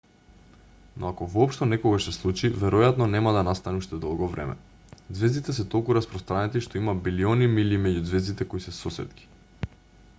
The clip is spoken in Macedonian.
но ако воопшто некогаш се случи веројатно нема да настане уште долго време ѕвездите се толку распространети што има билиони милји меѓу ѕвездите кои се сосетки